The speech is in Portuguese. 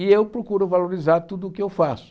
E eu procuro valorizar tudo o que eu faço.